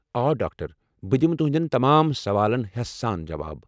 آ، ڈاکٹر ! بہٕ دمہٕ تُہنٛدٮ۪ن تمام سوالن ہیسہٕ سان جواب ۔